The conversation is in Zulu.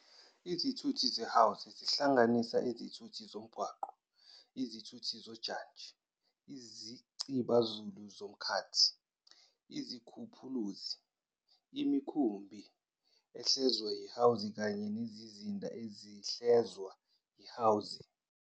Izithuthi zeHwanzi zihlanganisa izithuthi zomgwaqo, izithuthi zojantshi, Izicibazulu zomkhathi, izikhuphuluzi, imikhumbi edlezwa yihwanzi kanye nezindiza ezidlezwa yihwanzi.